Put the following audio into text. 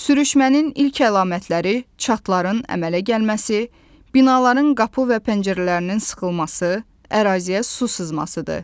Sürüşmənin ilk əlamətləri çatların əmələ gəlməsi, binaların qapı və pəncərələrinin sıxılması, əraziyə su sızmasıdır.